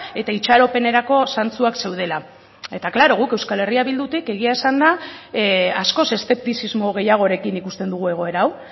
eta itxaropenerako zantzuak zeudela eta claro guk euskal herria bildutik egia esanda askoz eszeptizismo gehiagorekin ikusten dugu egoera hau